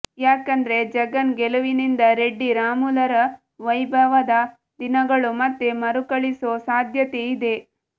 ಯಾಕಂದ್ರೆ ಜಗನ್ ಗೆಲುವಿನಿಂದ ರೆಡ್ಡಿ ರಾಮುಲುರ ವೈಭವದ ದಿನಗಳು ಮತ್ತೆ ಮರುಕಳಿಸೋ ಸಾಧ್ಯತೆ ಇದೆ